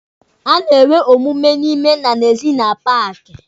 A na-enwe omume n'ime na n'ezi na paaki.